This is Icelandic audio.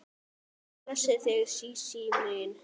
Guð blessi þig Sísí mín.